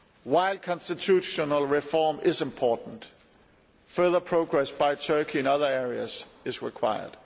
While constitutional reform is important, further progress by Turkey in other areas is required.